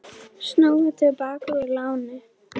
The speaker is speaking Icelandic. Snúa til baka úr láni